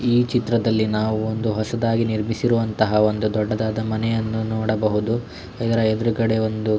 ಈ ಚಿತ್ರದಲ್ಲಿ ನಾವು ಒಂದು ಹೊಸದಾಗಿ ನಿರ್ಮಿಸಿರುವಂತಹ ಒಂದು ದೊಡ್ಡದಾದ ಮನೆಯನ್ನು ನೋಡಬಹುದು ಅದರ ಎದುರುಗಡೆ ಒಂದು.